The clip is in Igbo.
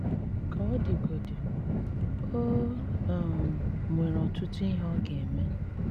Kà ọ̀ dìgòdí, ò um nwerè ọ̀tụ̀tụ̀ ihe ọ̀ gà-ème.